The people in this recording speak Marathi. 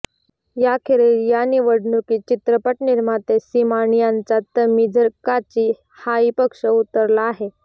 याखेरीज या निवडणुकीत चित्रपट निर्माते सीमान यांचा तमीझर काची हाही पक्ष उतरला आहे